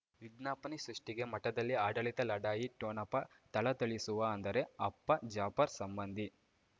ವಿಜ್ಞಾಪನೆ ಸೃಷ್ಟಿಗೆ ಮಠದಲ್ಲಿ ಆಡಳಿತ ಲಢಾಯಿ ಠೊಣಪ ಥಳಥಳಿಸುವ ಅಂದರೆ ಅಪ್ಪ ಜಾಫರ್ ಸಂಬಂಧಿ